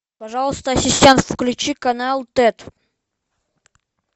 пожалуйста ассистент включи канал тет